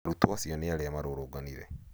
arutwo acio nĩ arĩa marũrũnganire